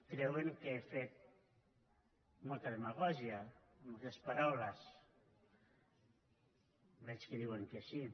creuen que he fet molta demagògia amb aquestes paraules veig que diuen que sí